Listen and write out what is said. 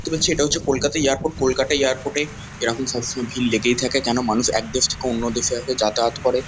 দেখতে পাচ্ছি এটা কলকাতা এয়ারপোর্ট কলকাটা এয়ারপোর্ট -এ এরকম সবসময় ভিড় লেগেই থাকে যেন মানুষ এক দেশ থেকে অন্য দেশে আসে যাতায়াত করে।